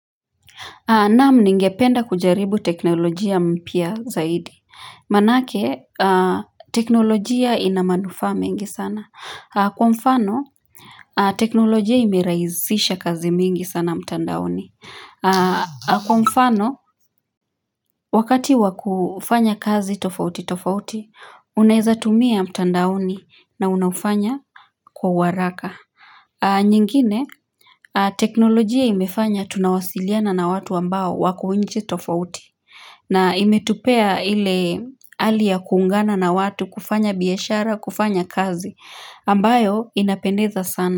Naam ningependa kujaribu teknolojia mpya zaidi. Maanake, teknolojia ina manufaa mengi sana. Kwa mfano, teknolojia imerahisisha kazi mingi sana mtandaoni. Kwa mfano, wakati wakufanya kazi tofauti tofauti, unaezatumia mtandaoni na unaufanya kwa waraka. Nyingine, teknolojia imefanya tunawasiliana na watu ambao wako nchi tofauti. Na imetupea ile hali ya kuungana na watu kufanya biashara kufanya kazi ambayo inapendeza sana.